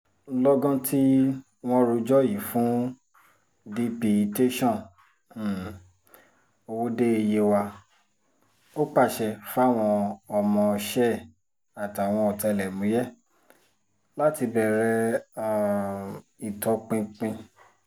lọ́gán tí wọ́n rojọ́ yìí fún dp tẹ̀sán um ọwọ́de yewa ò pàṣẹ fáwọn ọmọọṣẹ́ ẹ̀ àtàwọn ọ̀tẹlẹ̀múyẹ́ láti bẹ̀rẹ̀ um ìtọpinpin